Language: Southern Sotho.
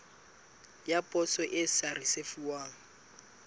ya poso e sa risefuwang